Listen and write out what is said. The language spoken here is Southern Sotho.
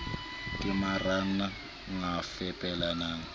ke maranran g a fepelang